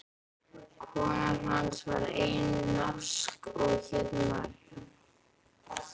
Kona hans var einnig norsk og hét María.